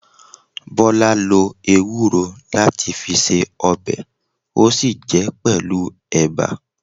Bola lo ewúro láti fi ṣe ọbẹ̀, ó sì jẹ pẹlu ẹ̀bà